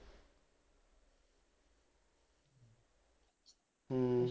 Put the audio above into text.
ਹਮ